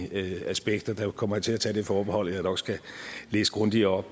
aspekter kommer jeg til at tage det forbehold at jeg nok skal læse grundigere